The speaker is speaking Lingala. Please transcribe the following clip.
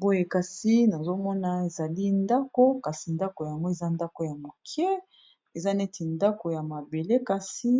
Boye kasi, nazo mona ezali ndako. Kasi ndako yango, eza ndako ya mokie. Eza neti ndako ya mabele. Kasi